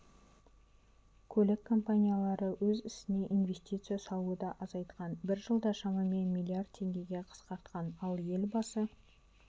көлік компаниялары өз ісіне инвестиция салуды азайтқан бір жылда шамамен млрд теңгеге қысқартқан ал елбасы